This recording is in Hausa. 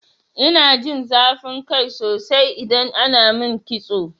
Ina jin zafin kai sosai idan ana min kitso.